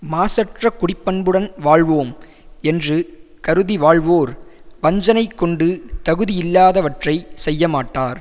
மாசற்ற குடி பண்புடன் வாழ்வோம் என்று கருதி வாழ்வோர் வஞ்சனைக் கொண்டு தகுதியில்லாதவற்றைக் செய்யமாட்டார்